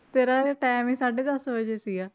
ਤੇਰਾ time ਹੀ ਸਾਢੇ ਦਸ ਵਜੇ ਸੀਗਾ।